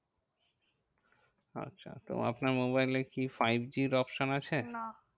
আচ্ছা তো আপনার মোবাইলে কি five G র option আছে? না